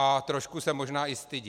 A trošku se možná i stydí.